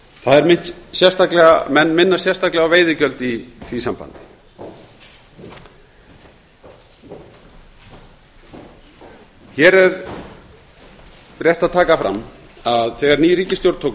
menn minnast sérstaklega á veiðigjöld í því sambandi hér er rétt að taka fram að þegar ný ríkisstjórn tók